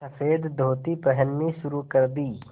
सफ़ेद धोती पहननी शुरू कर दी